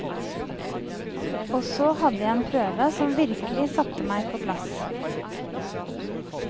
Og så hadde jeg en prøve som virkelig satte meg på plass.